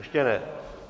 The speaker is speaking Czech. Ještě ne.